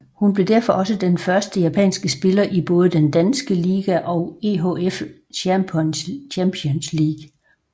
Hun blev derfor også den første japanske spiller i både den danske liga og EHF Champions League